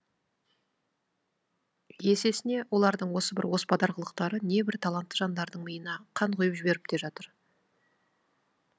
есесіне олардың осы бір оспадар қылықтары небір талантты жандардың миына қан құи ып жіберіп те жатыр